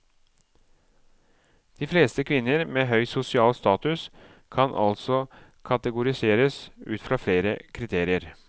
De fleste kvinner med høy sosial status kan altså kategoriseres ut fra flere kriterier.